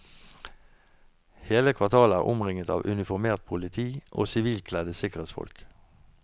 Hele kvartalet er omringet av uniformert politi og sivilkledde sikkerhetsfolk.